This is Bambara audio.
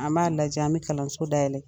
An b'a lajɛ an bɛ kalanso da yɛlɛ.